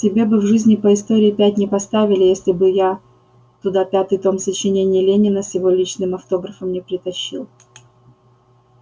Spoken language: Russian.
тебе бы в жизни по истории пять не поставили если бы я туда пятый том сочинений ленина с его личным автографом не притащил